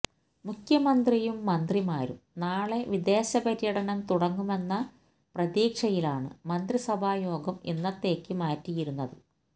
മുഖ്യമന്ത്രിയും മന്ത്രിമാരും നാളെ വിദേശ പര്യടനം തുടങ്ങുമെന്ന പ്രതീക്ഷയിലാണ് മന്ത്രിസഭാ യോഗം ഇന്നത്തേക്കു മാറ്റിയിരുന്നത്